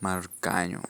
mar kanyo.